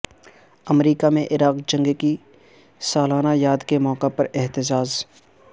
امریکہ میں عراق جنگ کی سالانہ یاد کے موقع پر احتجاج